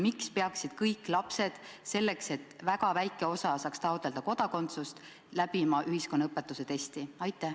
Miks peaksid kõik lapsed – selleks, et väga väike osa saaks taotleda kodakondsust – läbima ühiskonnaõpetuse testi?